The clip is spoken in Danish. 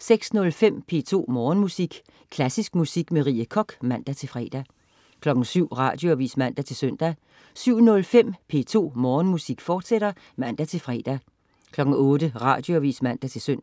06.05 P2 Morgenmusik. Klassisk musik med Rie Koch (man-fre) 07.00 Radioavis (man-søn) 07.05 P2 Morgenmusik, fortsat (man-fre) 08.00 Radioavis (man-søn)